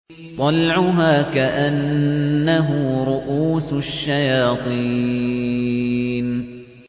طَلْعُهَا كَأَنَّهُ رُءُوسُ الشَّيَاطِينِ